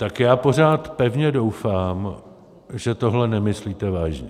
Tak já pořád pevně doufám, že tohle nemyslíte vážně.